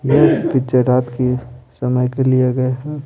यह पिक्चर रात के समय का लिया गए है।